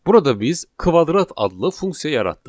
Burada biz kvadrat adlı funksiya yaratdıq.